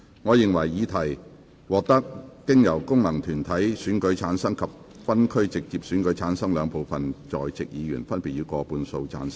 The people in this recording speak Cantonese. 我認為議題獲得經由功能團體選舉產生及分區直接選舉產生的兩部分在席議員，分別以過半數贊成。